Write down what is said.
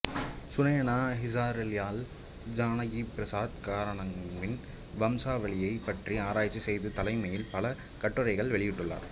சுனயனா ஹசாரிலால் ஜானகிபிரசாத் கரானாவின் வம்சாவளியைப் பற்றி ஆராய்ச்சி செய்து தலைப்பில் பல கட்டுரைகளை வெளியிட்டுள்ளார்